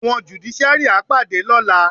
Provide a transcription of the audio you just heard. Àwọn jùdíṣíárì á pàdé lọ́la.